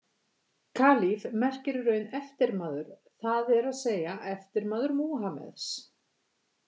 Kalífi merkir í raun eftirmaður, það er að segja eftirmaður Múhameðs.